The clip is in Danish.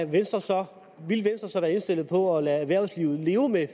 venstre så være indstillet på at lade erhvervslivet leve med